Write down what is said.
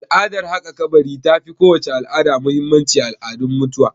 Al'adar haƙa kabari ta fi kowace al'ada muhimmanci a al'adun mutuwa